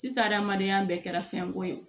Sisan adamadenya bɛɛ kɛra fɛnko ye